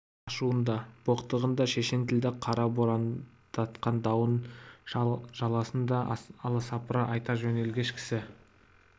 ашуын да боқтығын да шешен тілді қара борандатқан дауын жаласын да аласапыран айта жөнелгіш кісі